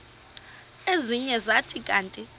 ezinye zathi kanti